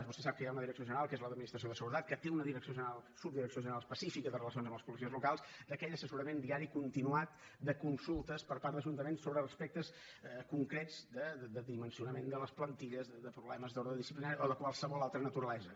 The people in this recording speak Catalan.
vostè sap que hi ha una direcció general que és la d’administració de seguretat que té una subdirecció general especifica de relacions amb els policies locals d’aquell assessorament diari continuat de consultes per part d’ajuntaments sobre aspectes concrets de dimensionament de les plantilles de problemes d’ordre disciplinari o de qualsevol altra naturalesa